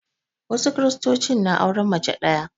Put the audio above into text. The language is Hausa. Wasu Kiristocin na auren mace ɗaya